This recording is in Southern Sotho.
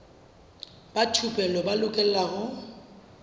ba thupelo ba lokela ho